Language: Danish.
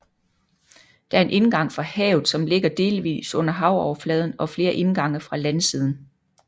Der er en indgang fra havet som ligger delvis under havoverfladen og flere indgange fra landsiden